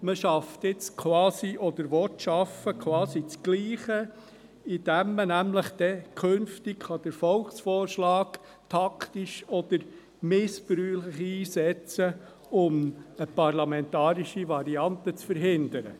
Man will jetzt quasi das Gleiche schaffen, indem man den Volksvorschlag künftig taktisch oder missbräuchlich einsetzen kann, um eine parlamentarische Variante zu verhindern.